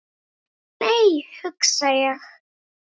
Æ, nei hugsa ég.